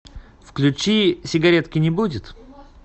включи сигаретки не будет